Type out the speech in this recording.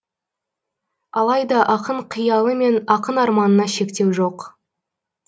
алайда ақын қиялы мен ақын арманына шектеу жоқ